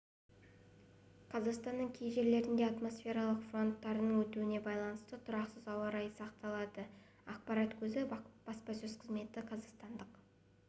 қазақстанның кей жерлерінде атмосфералық фронттардың өтуіне байланысты тұрақсыз ауа райы сақталады ақпарат көзі баспасөз қызметі қазақстандық